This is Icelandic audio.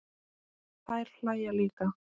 Þær hlæja líka.